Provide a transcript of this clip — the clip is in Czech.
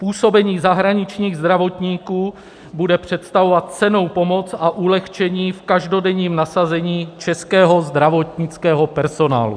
Působení zahraničních zdravotníků bude představovat cennou pomoc a ulehčení v každodenním nasazení českého zdravotnického personálu.